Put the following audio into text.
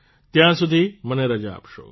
ત્યાં સુધી મને રજા આપશો